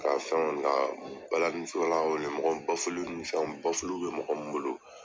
Ka fɛnw bila, ka balani law wele, mɔgɔ min nin fɛnw, bɛ mɔgɔ min bolo.